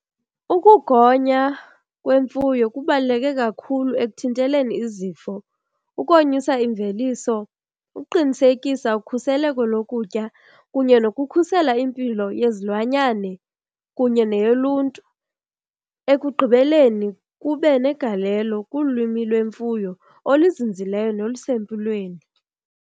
Ukugonya kwemfuyo kubaluleke kakhulu ekuthinteleni izifo, ukonyusa imveliso, ukuqinisekisa ukhuseleko lokutya kunye nokukhusela impilo yezilwanyane kunye neyoluntu. Ekugqibeleni kube negalelo kulwimi lwemfuyo oluzinzileyo nolusempilweni.